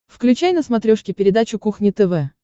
включай на смотрешке передачу кухня тв